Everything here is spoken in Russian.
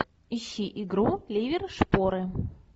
ищи игру ливер шпоры